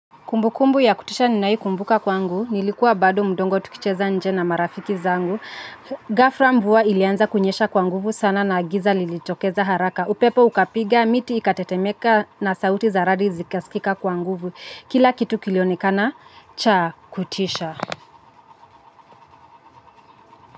Kumbu kumbu ya kutisha ninaikumbuka kwa ngu, nilikuwa bado mdogo tukicheza nje na marafiki zangu. Ghafra mvua ilianza kunyesha kwa nguvu sana na giza lilitokeza haraka. Upepo ukapiga, miti ikatetemeka na sauti zaradi zikaskika kwa nguvu. Kila kitu kilionekana, cha kutisha.